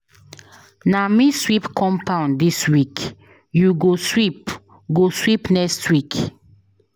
Na me sweep compound dis week, you go sweep go sweep next week.